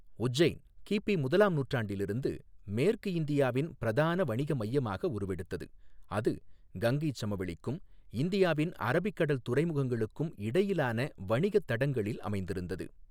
உஜ்ஜைன் கிபி முதலாம் நூற்றாண்டிலிருந்து மேற்கு இந்தியாவின் பிரதான வணிக மையமாக உருவெடுத்தது, அது கங்கைச் சமவெளிக்கும் இந்தியாவின் அரபிக் கடல் துறைமுகங்களுக்கும் இடையிலான வணிகத் தடங்களில் அமைந்திருந்தது.